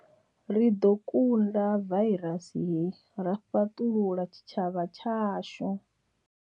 Ri ḓo kunda vairasi hei ra fhaṱulula tshitshavha tshashu.